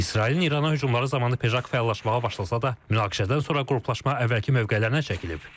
İsrailin İrana hücumları zamanı PEJAK fəallaşmağa başlasa da, münaqişədən sonra qruplaşma əvvəlki mövqelərinə çəkilib.